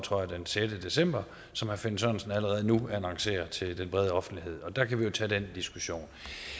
tror jeg den sjette december og som herre finn sørensen allerede nu annoncerer til den bredere offentlighed der kan vi jo tage den diskussion